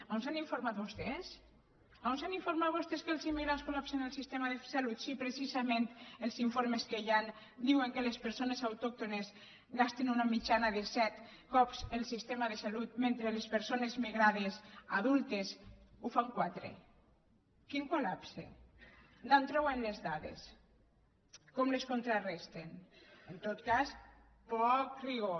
on s’han informat vostès on s’han informat vostès que els immigrants col·lapsen el sistema de salut si precisament els informes que hi han diuen que les persones autòctones gasten una mitjana de set cops el sistema de salut mentre les persones migrades adultes ho fan quatre quin col·lapse d’on treuen les dades com les contraresten en tot cas poc rigor